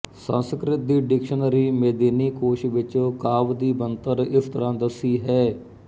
ਸੰਸਕ੍ਰਿਤ ਦੀ ਡਿਕਸ਼ਨਰੀ ਮੇਦਿਨੀ ਕੋਸ਼ ਵਿਚ ਕਾਵਿ ਦੀ ਬਣਤਰ ਇਸ ਤਰ੍ਹਾਂ ਦੱਸੀ ਹੈ